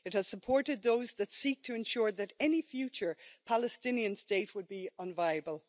It has supported those that seek to ensure that any future Palestinian state would be unviable.